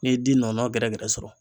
N'i ye di nɔnɔnna gɛrɛgɛrɛ sɔrɔ.